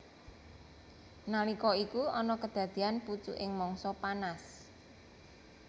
Nalika iku ana kedadeyan pucuking mangsa panas